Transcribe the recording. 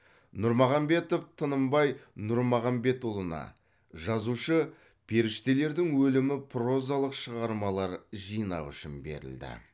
нұрмағанбетов тынымбай нұрмағанбетұлына жазушы періштелердің өлімі прозалық шығармалар жинағы үшін берілді